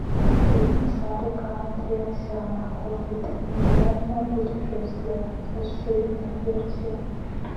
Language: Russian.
фильм сарика андреасяна хоббиты нежданное путешествие расширенная версия